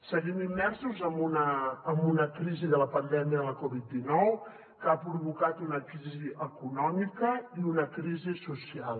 seguim immersos en una crisi de la pandèmia de la covid dinou que ha provocat una crisi econòmica i una crisi social